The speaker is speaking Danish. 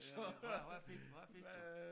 Hvad hvad fik du?